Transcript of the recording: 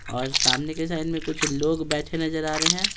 और सामने के साइड में कुछ लोग बैठे नजर आ रहे हैं।